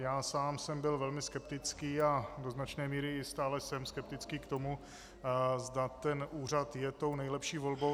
Já sám jsem byl velmi skeptický a do značné míry i stále jsem skeptický k tomu, zda ten úřad je tou nejlepší volbou.